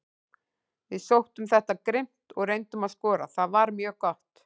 Við sóttum þetta grimmt og reyndum að skora, það var mjög gott.